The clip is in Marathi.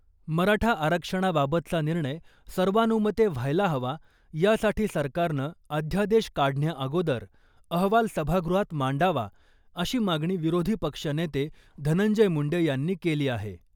मराठा आरक्षणाबाबतचा निर्णय सर्वानुमते व्हायला हवा यासाठी सरकारनं अध्यादेश काढण्याअगोदर अहवाल सभागृहात मांडावा अशी मागणी विरोधी पक्ष नेते धनंजय मुंडे यांनी केली आहे .